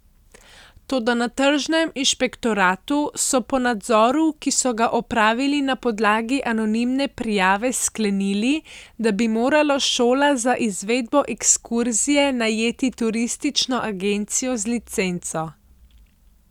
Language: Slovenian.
Toda na tržnem inšpektoratu so po nadzoru, ki so ga opravili na podlagi anonimne prijave, sklenili, da bi morala šola za izvedbo ekskurzije najeti turistično agencijo z licenco.